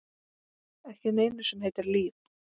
Ekki neinu sem heitir líf.